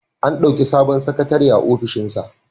An ɗauki sabon sakatare a ofishinsa.